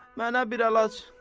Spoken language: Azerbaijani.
Mənə bir əlac elə.